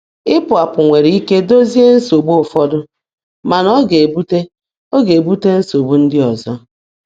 Ịpụ apụ nwere ike dozie nsogbu ụfọdụ, mana ọ ga-ebute ọ ga-ebute nsogbu ndị ọzọ.